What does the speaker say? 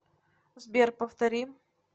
сбер повтори